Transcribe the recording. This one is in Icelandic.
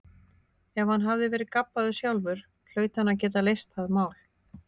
Ef hann hafði verið gabbaður sjálfur hlaut hann að geta leyst það mál.